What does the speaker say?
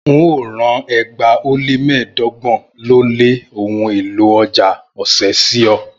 N óo rán ẹgbàá ó lé mẹ́ẹ̀ẹ́dọ́gbọ̀n ó lé ohun èlò ọ̀já ọ̀sẹ̀ sí ọ